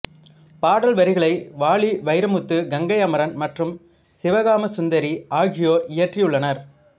பாடல் வரிகளை வாலி வைரமுத்து கங்கை அமரன் மற்றும் சிவகாமசுந்தரி ஆகியோர் இயற்றியுள்ளனர்